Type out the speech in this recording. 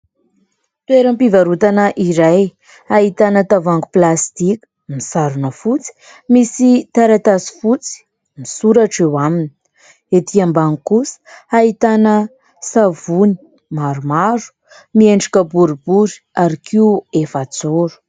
Toeram-pivarotana iray ahitana tavohangy plastika misarona fotsy misy taratasy fotsy misoratra eo aminy. Ety ambany kosa ahitana savony maromaro miendrika boribory ary koa efajoro.